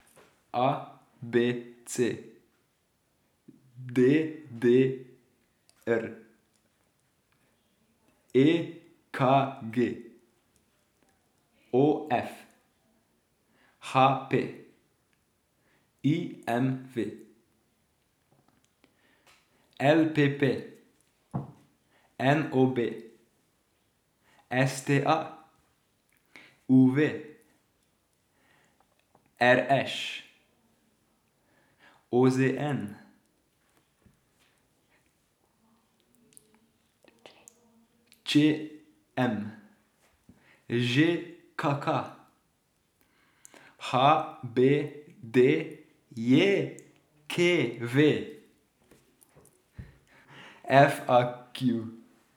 A B C; D D R; E K G; O F; H P; I M V; L P P; N O B; S T A; U V; R Š; O Z N; Č M; Ž K K; H B D J K V; F A Q.